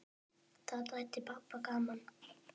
Það þætti pabba gaman.